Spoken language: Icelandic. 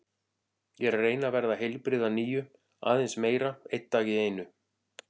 Ég er að reyna að verða heilbrigð að nýju, aðeins meira, einn dag í einu.